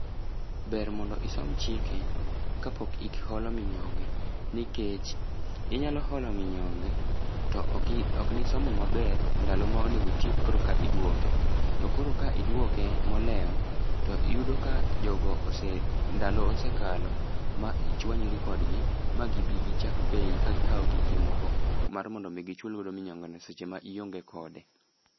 Ber mondo isom chike, ka pok iholo minyonge, nikech, inyalo holo minyonge, to oki, oknisomo maber ndalo ma onego itiek koreka iduoke. To koro ka iduoke moleo, to yudo ka jogo ose, ndalo osekalo, ma ichuanyri kodgi, ma gibi gichak peyi, kagikao giki moko, mar mondo mi gichul godo minyonge no seche ma ionge kode.